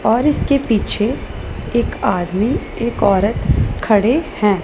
और इसके पीछे एक आदमी एक औरत खड़े हैं।